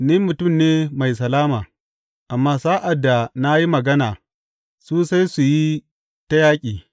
Ni mutum ne mai salama; amma sa’ad da na yi magana, su sai su yi ta yaƙi.